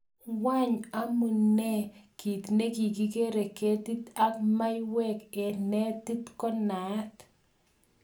Wang amune kit nekigere ketit ak mauwek en netit ko naat?